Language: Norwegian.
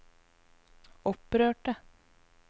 opprørte